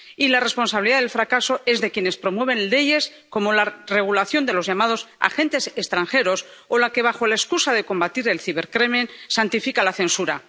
Y la responsabilidad del fracaso es de quienes promueven leyes como la de regulación de los llamados agentes extranjeros o la que, bajo la excusa de combatir el cibercrimen, santifica la censura